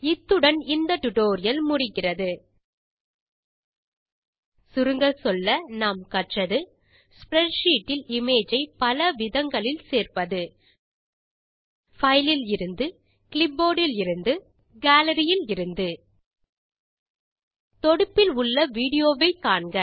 இத்துடன் இந்த LibreOffice Calc மீதான ஸ்போக்கன் டியூட்டோரியல் முடிகிறது சுருங்கச்சொல்ல நாம் கற்றது ஸ்ப்ரெட்ஷீட் இல் இமேஜ் ஐ பல விதங்களில் சேர்ப்பது பைல் இலிருந்து கிளிப்போர்ட் இலிருந்து கேலரி இலிருந்து தொடுப்பில் உள்ள விடியோ வை காண்க